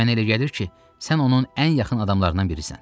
Mənə elə gəlir ki, sən onun ən yaxın adamlarından birisən.